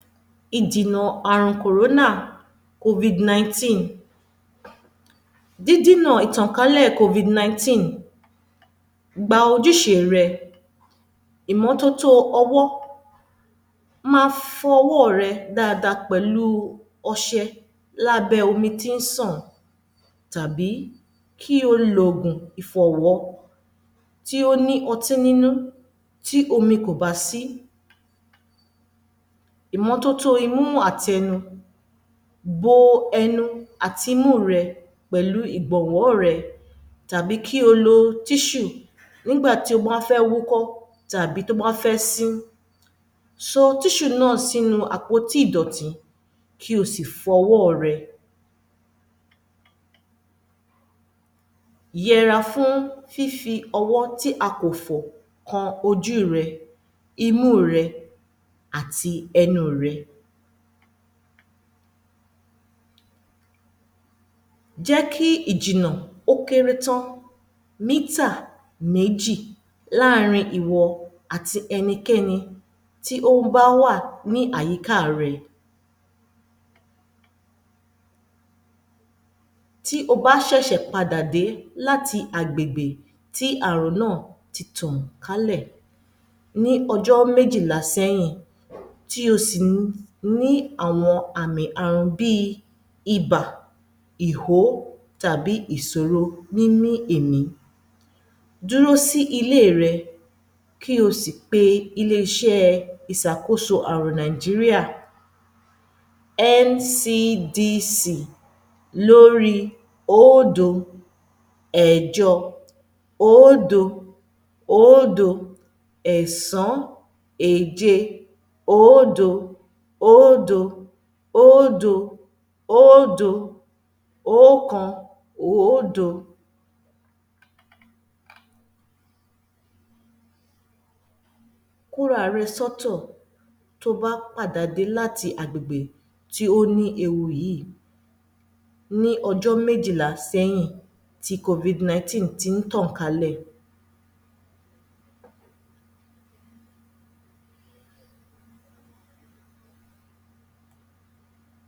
Ìdìnà àrùn Kòrónà Covid-nineteen Dídínà ìtànkálẹ̀ Covid-nineteen gba ojúṣé rẹ, ìmọ́tótó ọwọ́, ma fọ ọwọ́ rẹ dáadáa pẹ̀lú ọṣẹ lábẹ́ omi tí ń sàn tàbí kí o lo oògùn ìfọ̀wọ́ tí ó ní ọtí nínú tí omi kò bá sí. Ìmọ́tótó imú àti ẹnu Bo ẹnu àti imú rẹ̀ pẹ̀lú ìgbọ̀nwọ́ rẹ tàbí kí o lo tissue nígbà tí o bá fẹ́ wúkọ́ tàbí tí o bá fẹ́ sín. Sọ tissue náà sínú àpótí ìdọ̀tí, kí o sì fọwọ́ rẹ. Yẹra fún fífi ọwọ́ tí a kò fọ̀ kan ojú rẹ, imú rẹ, àti ẹnu rẹ. Jẹ́ kí ìjìnà ó kéré tán mítà méjì láàrin ìwọ àti ẹnikẹ́ni tí ó bá wà ní àyíká rẹ. Tí o bá ṣẹ̀ṣẹ̀ padà dé láti agbègbè tí àrùn náà ti tàn kálẹ̀ ní ọjọ́ méjìlá sẹ́yìn, tí o sì ní àwọn àmì àrùn bíi ibà, ìhó tàbí ìsòro nínú èmí, dúró sí ilé rẹ, kí o sì pe ilé-iṣẹ́ ìsàkóso àrùn Nigeria NCDC lóríi oódo ẹ̀jọ oódo oódo ẹ̀sán èje oódo oódo oódo oódo oókan oódo Kóra rẹ sọ́tọ̀ tó o bá padà dé láti agbègbè tí ó ní ewu yíì ní ọjọ́ méjìlá sẹ́yìn tí Covid-nineteen ti ń tàn kálẹ̀.